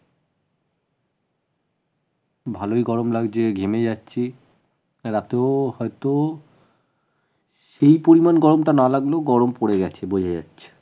ভালই গরম লাগছে ঘেমে যাচ্ছি রাতেও হয়তো সেই পরিমান গরমটা না লাগলেও গরম পরে গেছে বোঝা যাচ্ছে